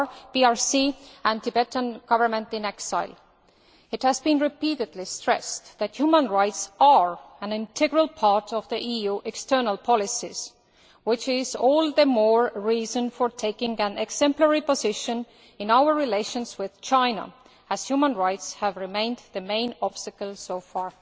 PRC and the Tibetan Government in exile. It has been repeatedly stressed that human rights are an integral part of EU external policies, which is all the more reason for taking an exemplary position in our relations with China, as human rights have remained the main obstacle so far.